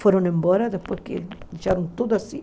Foram embora depois que deixaram tudo assim.